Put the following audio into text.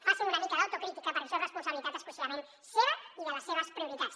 facin una mica d’autocrítica perquè això és responsabilitat exclusivament seva i de les seves prioritats